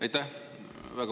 Aitäh!